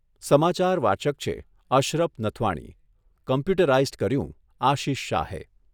સમાચાર વાચક છે અશરફ નથવાણી, કોમ્પ્યુટરાઇઝ્ડ કર્યું આશિષ શાહે